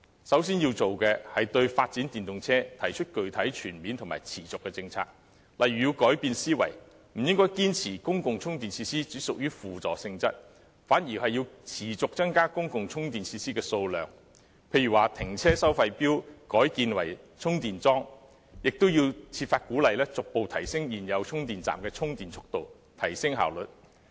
首先要做的是，對發展電動車提出具體、全面和持續的政策，例如要改變思維，不應堅持公共充電設施只屬輔助性質，反而要持續增加公共充電設施的數量，例如停車收費錶改建為充電裝置，亦要設法鼓勵逐步提升現有充電站的充電速度，提升效率。